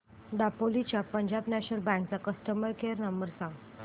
दापोली च्या Punjab national bank चा customer care number सांग